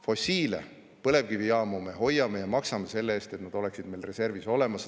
Fossiile, põlevkivijaamu me hoiame, me maksame selle eest, et need oleksid meil reservis olemas.